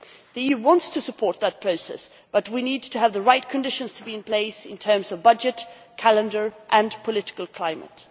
The EU wants to support that process, but we need to have the right conditions to be in place in terms of budget, calendar and political climate.